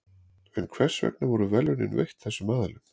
en hvers vegna voru verðlaunin veitt þessum aðilum